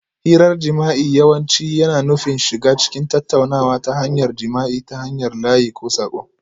Hirar jima'i yawanci yana nufin shiga cikin tattaunawa ta hanyar jima'i ta hanyar layi ko saƙo